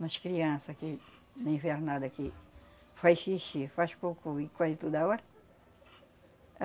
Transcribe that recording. Nas criança que, na invernada, que faz xixi, faz cocô e corre toda hora.